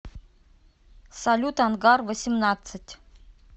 салют ангар восемьнадцать